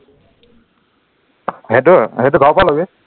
সেইটো সেইটো ঘৰৰ পৰা লবি